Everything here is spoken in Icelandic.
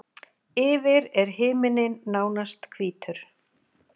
Yfir er himinninn nánast hvítur.